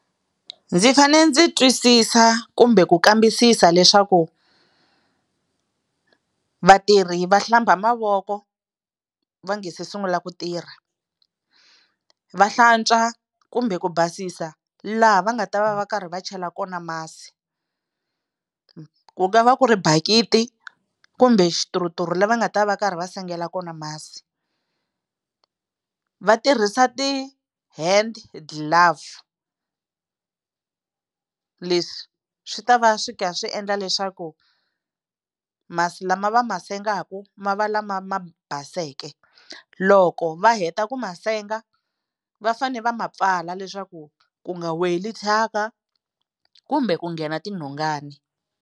Ndzi fanele ndzi twisisa kumbe ku kambisisa leswaku vatirhi va hlamba mavoko va nga se sungula ku tirha va hlantswa kumbe ku basisa laha va nga ta va va karhi va chela kona masi ku nga va ku ri bakiti kumbe xituruturu la va nga ta va karhi va sengela kona masi va tirhisa ti-hand glove leswi swi ta va swi kha swi endla leswaku masi lama va ma sengaka ma va lama ma baseke loko va heta ku ma senge va fane va ma pfala leswaku ku nga weli thyaka kumbe ku nghena tinhongana.